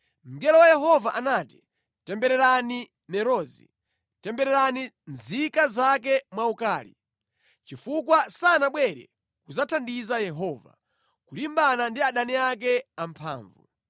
Mngelo wa Yehova anati ‘Tembererani Merozi.’ ‘Tembererani nzika zake mwaukali, chifukwa sanabwere kudzathandiza Yehova, kulimbana ndi adani ake amphamvu.’